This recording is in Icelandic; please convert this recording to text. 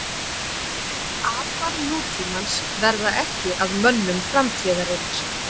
apar nútímans verða ekki að mönnum framtíðarinnar